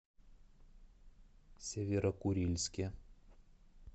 северо курильске